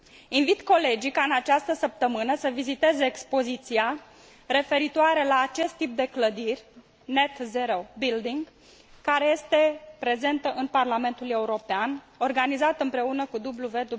Invit colegii ca în această săptămână să viziteze expoziția referitoare la acest tip de clădiri Net zero building care este prezentă în Parlamentul European, organizată împreună cu WWF.